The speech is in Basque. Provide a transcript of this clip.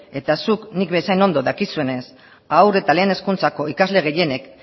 eta zuk nik bezain ondo dakizunez haur eta lehen hezkuntzako ikasle gehienek